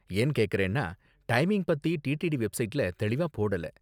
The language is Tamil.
ஏன் கேக்கறேன்னா, டைமிங் பத்தி டிடிடி வெப்சைட்ல தெளிவா போடல.